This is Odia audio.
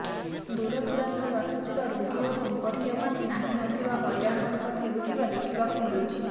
ଦୂରଦୂରାନ୍ତରୁ ଆସୁଥିବା ରୋଗୀ ଓ ସମ୍ପର୍କୀୟ ମାନେ ନାହିଁ ନଥିବା ହଇରାଣ ହରକତ ହେଉଥିବା ଦେଖିବାକୁ ମିଳୁଛି